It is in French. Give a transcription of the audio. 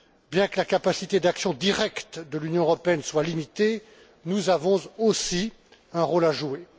Bien que la capacité d'action directe de l'Union européenne soit limitée, nous avons aussi un rôle à jouer.